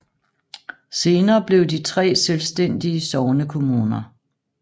Senere blev de tre selvstændige sognekommuner